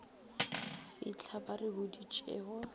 fitlha ba re boditše go